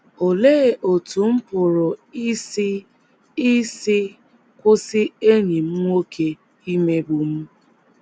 Olee Otú M Pụrụ Isi Isi Kwụsị Enyi M Nwoke Imegbu M?